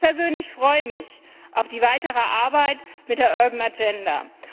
Ich persönlich freue mich auf die weitere Arbeit mit der Urban Agenda